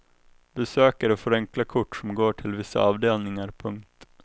Besökare får enkla kort som går till vissa avdelningar. punkt